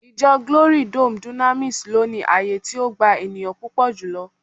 Ijo glory dome dunamis lo ni ààyè ti o gba eniyan pupo julo